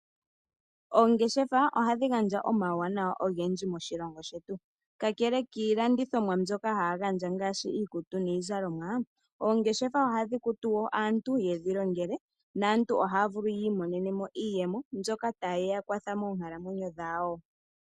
Oongeshefa ohadhi gandja omauwanawa ogendji moshilongo shetu. Kakele kiilandithomwa mbyoka haya gandja ngaashi iizalomwa, aanangeshefa ohaya kutu aantu opo ye ya longele moongeshefa dhawo, naantu ohayi imonene mo iiyemo mbyoka hayi ya kwatha moonkalamwenyo dhawo.